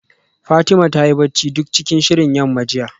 Fatima ta yi bacci duk cikin shirin yamma jiya